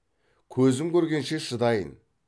көзім көргенше шыдайын